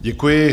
Děkuji.